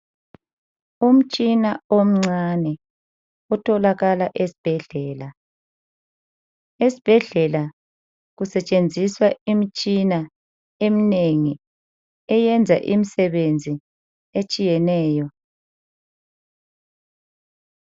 Umtshina omncane otholakala esibhedlela. Esibhedlela kusetshenziswa imitshina eminengi eyenza imisebenzi etshiyeneyo.